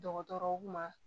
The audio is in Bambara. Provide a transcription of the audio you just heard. Dɔgɔtɔrɔw ma